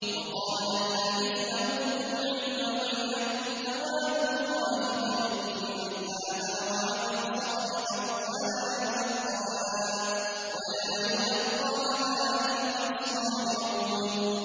وَقَالَ الَّذِينَ أُوتُوا الْعِلْمَ وَيْلَكُمْ ثَوَابُ اللَّهِ خَيْرٌ لِّمَنْ آمَنَ وَعَمِلَ صَالِحًا وَلَا يُلَقَّاهَا إِلَّا الصَّابِرُونَ